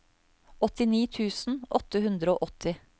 åttini tusen åtte hundre og åtti